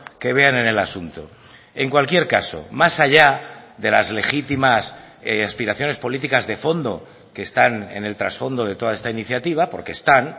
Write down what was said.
que vean en el asunto en cualquier caso más allá de las legítimas aspiraciones políticas de fondo que están en el trasfondo de toda esta iniciativa porque están